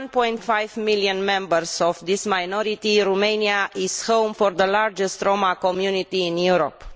1.5 million members of this minority, Romania is home to the largest Roma community in Europe.